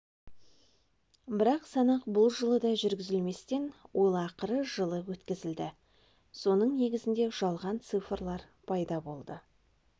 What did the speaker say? бірақ санақ бұл жылы да жүргізілместен ол ақыры жылы өткізілді соның негізінде жалған цифрлар пайда болды